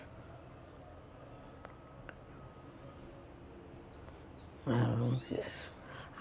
Ela não quis.